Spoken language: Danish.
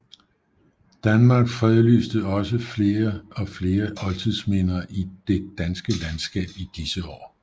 Staten fredlyste også flere og flere oldtidsminder i det danske landskab i disse år